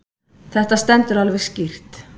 Þetta stendur alveg skýrt.